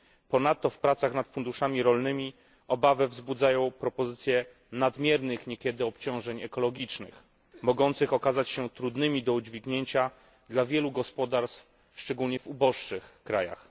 Ponadto w pracach nad funduszami rolnymi obawę wzbudzają propozycje nadmiernych niekiedy obciążeń ekologicznych, mogących okazać się trudnymi do udźwignięcia dla wielu gospodarstw, szczególnie w uboższych krajach.